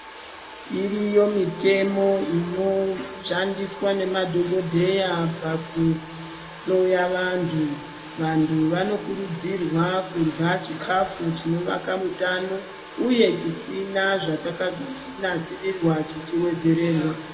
Iriyo mitemo inoshandiswa nemadhokodheya pakuhloya vantu. Vantu vanokurudzirwa kudla chikafu chinobaka mutano uye, chisina zvachakanasirirwa chichiwedzererwa.